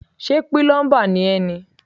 Ṣé pílọ́ḿbà ni ẹ́ ni.